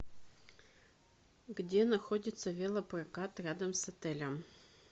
где находится велопрокат рядом с отелем